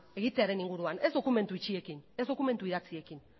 egitearen inguruan ez dokumentu itxiekin ez dokumentu idatziekin